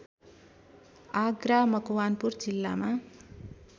आग्रा मकवानपुर जिल्लामा